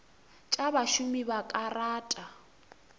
tša bašomi ba ka rata